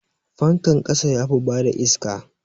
Fankan ƙasa yafi bada iska.